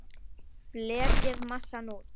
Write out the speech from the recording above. Fletjið massann út.